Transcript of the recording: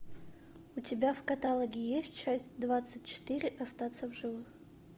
у тебя в каталоге есть часть двадцать четыре остаться в живых